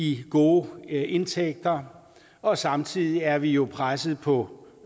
i gode indtægter og samtidig er vi jo presset på